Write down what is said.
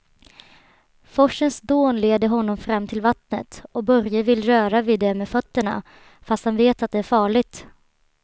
Forsens dån leder honom fram till vattnet och Börje vill röra vid det med fötterna, fast han vet att det är farligt.